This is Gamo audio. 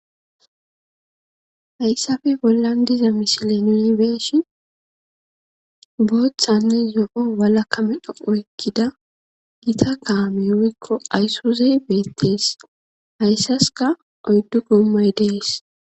Hayssapoe bollan diza misile nuni be'ishin booththanne zo'o walaka medho oykkida gita kaamey woykko aysuzey beetes. Hayssaskka oyddu goommay dees.